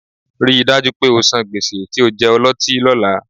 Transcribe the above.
Rí i dájú pé o san gbèsè tí o jẹ ọlọ́tí lọ́la